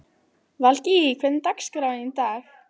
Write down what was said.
Valgý, hvernig er dagskráin í dag?